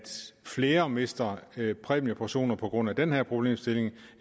flere der mister præmieportioner på grund af den her problemstilling